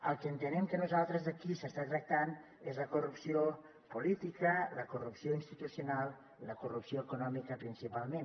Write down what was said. el que entenem nosaltres que aquí s’està tractant és la corrupció política la corrupció institucional la corrupció econòmica principalment